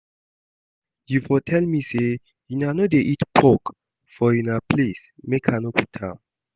You for tell me say una no dey eat pork for una place make I no put am